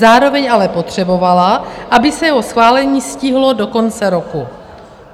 Zároveň ale potřebovala, aby se jeho schválení stihlo do konce roku.